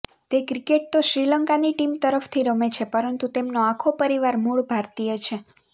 તે ક્રિકેટ તો શ્રીલંકાની ટીમ તરફથી રમે છે પરંતુ તેમનો આખો પરિવાર મૂળ ભારતીય છે